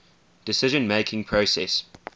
decision making process